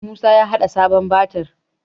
Musa ya haɗa sabon batir